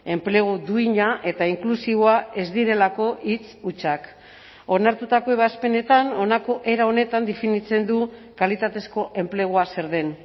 enplegu duina eta inklusiboa ez direlako hitz hutsak onartutako ebazpenetan honako era honetan definitzen du kalitatezko enplegua zer den